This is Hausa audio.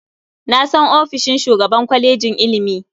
Na san ofishin shugaban kwalejin ilimi.